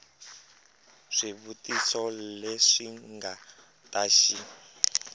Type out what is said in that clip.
swivutiso leswi nga ta xi